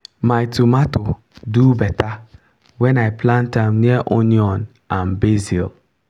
my tomato do better when i plant am near onion and basil.